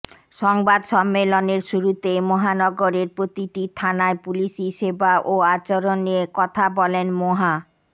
সংবাদ সম্মেলনের শুরুতেই মহানগরের প্রতিটি থানায় পুলিশি সেবা ও আচরণ নিয়ে কথা বলেন মোহা